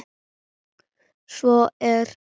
Svo er